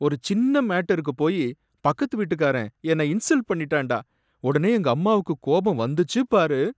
ஒரு சின்ன மேட்டருக்குப் போய் பக்கத்து வீட்டுக்காரன் என்ன இன்சல்ட் பண்ணிட்டான்டா, உடனே எங்க அம்மாவுக்கு கோபம் வந்துச்சு பாரு!